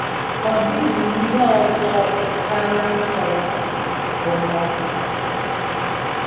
Ọ dịbihe ọzọ ọ bụ karịa Nsọ ya, bụ́ Novel.